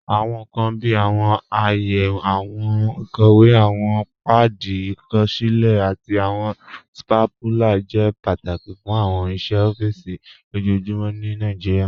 Awọn nkan bíi awọn àayè, awọn ikọwe, awọn paadi àkọsilẹ̀, àti awọn stapúlà jẹ́ pátákì fún awọn iṣẹ̀ ọ̀fíìsì lojoojumọ̀ ní Nàìjíríà.